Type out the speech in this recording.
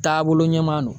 Taabolo ɲuman don